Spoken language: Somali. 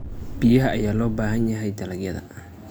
Biyaha ayaa loo baahan yahay dalagyada.